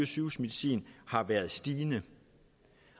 sygehusmedicin har været stigende